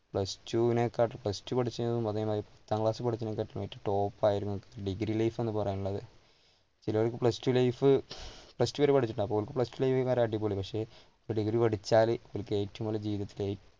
plus two വിനെ കാട്ടിലും plus two പത്താം ക്ലാസ് പഠിച്ചതിനെക്കാട്ടിലും ഏറ്റവും top ആയിരുന്നു degree life എന്ന് പറയാനുള്ളത്. ചിലർക്ക് plus two life, plus two വരെ പഠിച്ചിട്ടുണ്ടാവും, ഓർക്ക് plus two അടിപൊളി, പക്ഷെ degree പഠിച്ചാല് ഏറ്റവും